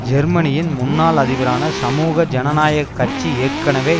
ஜெர்மனியின் முன்னாள் அதிபரான சமூக ஜனநாயக கட்சி ஏற்கனவே